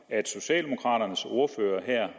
at socialdemokraternes ordfører her